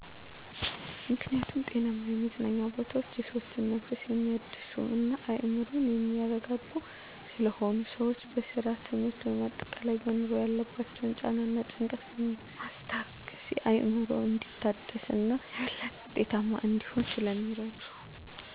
ምክኒያቱም ጤናማ የመዝናኛ ቦታወች የሰዎችን መንፈስ የሚያድሱ እና አዕምሮን የሚያረጋጉ ስለሆኑ። ሰወች በስራ፣ ትምህርት ወይም አጠቃላይ በኑሮ ያለባቸውን ጫና እና ጭንቀትን በማስታገስ አዕምሮ እንዲታደስ እና የበለጠ ውጤታማ እንዲሆን ስለሚረዱ።